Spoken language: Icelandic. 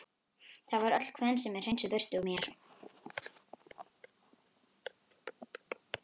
Það var öll kvensemi hreinsuð burt úr mér.